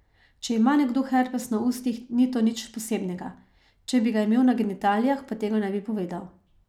Če ima nekdo herpes na ustih, ni to nič posebnega, če bi ga imel na genitalijah, pa tega ne bi povedal.